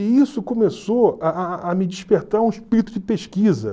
E isso começou a a a a me despertar um espírito de pesquisa.